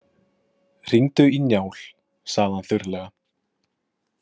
Hringdu í Njál, sagði hann þurrlega.